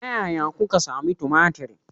Ta yaya kuka sami tumatir?